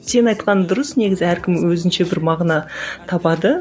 сенің айтқаның дұрыс негізі әркім өзінше бір мағына табады